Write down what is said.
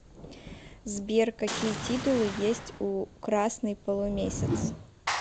сбер какие титулы есть у красный полумесяц